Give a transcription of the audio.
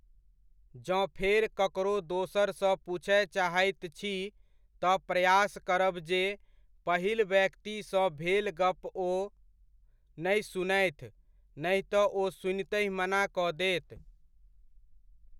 जँ फेर ककरो दोसर सऽ पूछय चाहैत छी तऽ प्रयास करब जे, पहिल व्यक्ति सऽ भेल गप ओ नहि सुनथि, नहि तऽ ओ सुनितहिं मना कऽ देत।